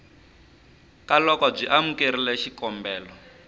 ka loko byi amukerile xikombelo